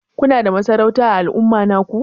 Kuna da masarauta ã al'umma naku?